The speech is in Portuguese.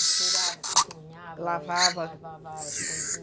Costurava, cozinhava, lavava, lavava as coisinhas.